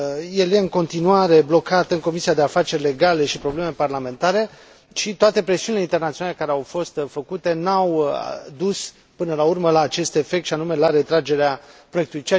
El e în continuare blocat în Comisia pentru afaceri legale și probleme parlamentare și toate presiunile internaționale care au fost făcute nu au dus, până la urmă, la acest efect, și anume la retragerea proiectului.